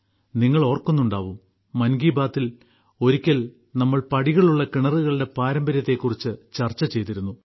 നിങ്ങൾ ഓർക്കുന്നുണ്ടാവും മൻ കി ബാത്തിൽ ഒരിക്കൽ നമ്മൾ പടികളുള്ള കിണറുകളുടെ പാരമ്പര്യത്തെക്കുറിച്ച് ചർച്ച ചെയ്തിരുന്നു